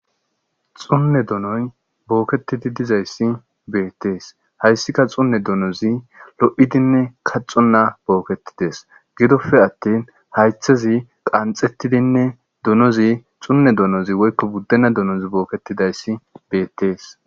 Xunne donoy bookettidi dizayssi beettees,hayssika xunne donozi lo7idinne kaxxonna bookettides,gidoppe attin haaythezi qanxettidinne donozi woykko buddenna donozi bookettidayssi beettees.